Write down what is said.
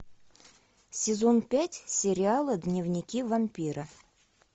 сезон пять сериала дневники вампира